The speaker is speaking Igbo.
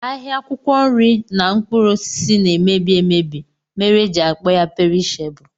Ahịa akwụkwọ nri na mkpụrụ osisi na-eme mmebi mere e ji akpọ ya perishebụl